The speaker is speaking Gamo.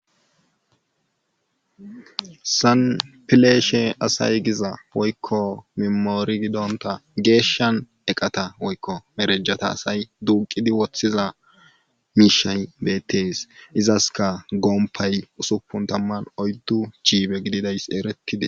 Sanpileeshe asay giza woykko memoori gidonta geeshshan eqata woykko merejata asay duuqidi woththiza miishay beettees izaska gompay usupun tamman oyddu chiibe gididays erettidi.